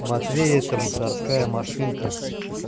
матвей это мусорская машинка